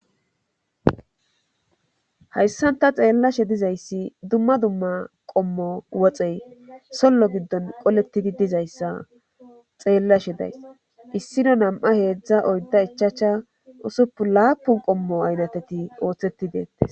Hayssanta xeellashe dizayssi dumma dumma qommo woxey sollo giddon qolettidi dizayssa xeellashe days issino nam'a heedzdza oydda ichacha usupu laapun qommo aynateti ooththetti deettes.